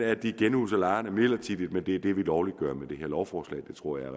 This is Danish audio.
at de genhuser lejerne midlertidigt det er det vi lovliggør med det her lovforslag jeg tror at